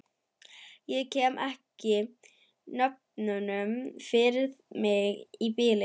Ég kem ekki nöfnunum fyrir mig í bili.